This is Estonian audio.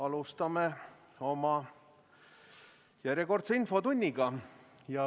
Alustame oma järjekordset infotundi.